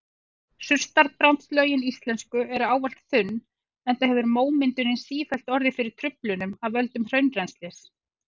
Surtarbrandslögin íslensku eru ávallt þunn enda hefur mómyndunin sífellt orðið fyrir truflunum af völdum hraunrennslis.